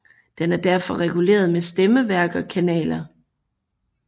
Den er derfor reguleret med stemmeværk og kanaler